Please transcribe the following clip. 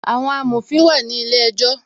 Àwọn amòfin náà wà ní ilé ejọ́